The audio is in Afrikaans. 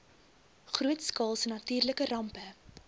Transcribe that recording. grootskaalse natuurlike rampe